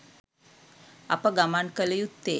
අප ගමන් කළ යුත්තේ